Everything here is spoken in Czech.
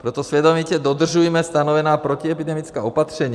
Proto svědomitě dodržujme stanovená protiepidemická opatření.